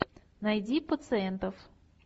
найди пациентов